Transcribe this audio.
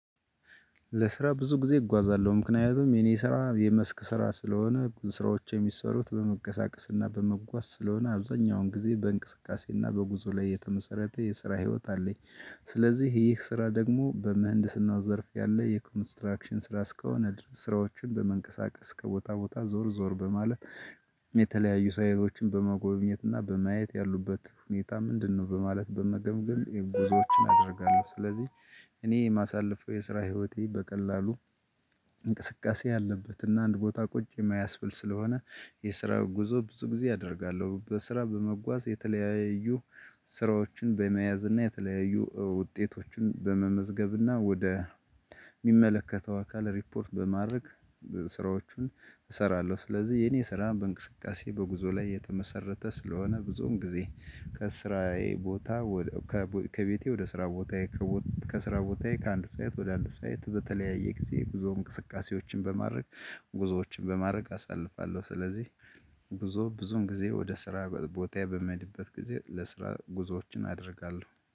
ለስራ ብዙ ጊዜ እጓዛለሁ ምክንያቱም የኔ ስራ የመስክ ስራ ስለሆነ ስራዎች የሚሰሩት በመቀሳቀስና በመጓዝ ስለሆነ አብዛኛውን ጊዜ በእንቅስቃሴና በጉዞ ላይ የተመሰረተ የስራ ህይወት አለኝ። ስለዚህ ይህ ስራ ደግሞ በምህንድስናው ዘርፍ ያለ የኮንስትራክሽን ስራ እስከሆነ ስራዎችን በመንቀሳቀስ ከቦታ ቦታ ዞር ዞር በማለት የተለያዩ ሳይቶችን በመጎብኘት እና በማየት ያሉበት ሁኔታ ምንድነው በማለት በመገምገም ጉዞዎችን አደርጋለሁ። ስለዚህ እኔ የማሳልፈው የስራ ህይወቴ በቀላሉ እንቅስቃሴ ያለበት እና አንድ ቦታ ቁጭ የማያስብል ስለሆነ የስራ ጉዞ ብዙ ጊዜ አደርጋለሁ። በስራ በመጓዝ የተለያዩ ስራዎችን በመያዝ እና የተለያዩ ውጤቶችን በመመዝገብና ወደ የሚመለከተው አካል ሪፖርት በማድረግ ስራዎቹን እሰራለሁ። ስለዚህ የኔ ስራ በእንቅስቃሴ በጉዞ ላይ የተመሰረተ ስለሆነ ብዙም ጊዜ ከስራዬ ቦታ ከቤቴ ወደ ስራ ቦታዬ። ከስራ ቦታዬ ከአንድ ሳይት ወደ አንድ ሳይት በተለያየ ጊዜ ብዙ እንቅስቃሴዎችን በማድረግ ጉዞዎችን በማድረግ አሳልፋለሁ። ስለዚህ ጉዞ ብዙም ጊዜ ወደ ስራ ቦታ በመሄድበት ጊዜ ለስራ ጉዞዎችን አደርጋለሁ